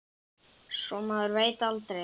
Svo maður veit aldrei.